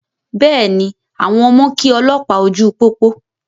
Bẹ́ẹ̀ni, àwọn ọmọ kí olópàá ojú pópó.